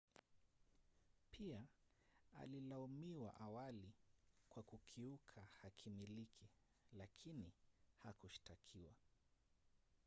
pia alilaumiwa awali kwa kukiuka hakimiliki lakini hakushtakiwa